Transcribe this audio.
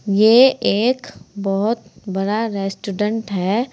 यह एक बहुत बड़ा रेस्टोरेंट है।